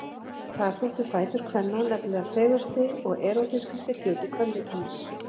Þar þóttu fætur kvenna nefnilega fegursti og erótískasti hluti kvenlíkamans.